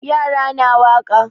Yara na waƙa.